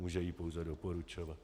Může jí pouze doporučovat.